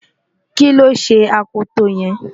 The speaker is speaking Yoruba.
kí ló ṣe akoto yẹn?